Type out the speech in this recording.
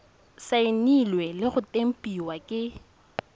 saenilwe le go tempiwa ke